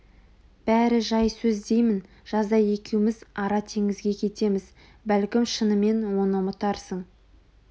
бәрі жай сөз деймін жазда екеуміз ара теңізге кетеміз бәлкім шынымен оны ұмытарсың